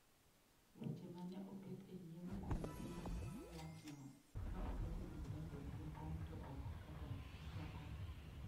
Weche ma ne oket e nyim komiti ma nono wachno, ne oket gi jalup jakom to ok kata jakom.